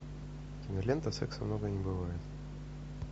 кинолента секса много не бывает